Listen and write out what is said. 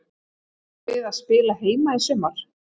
Býstu við að spila heima í sumar?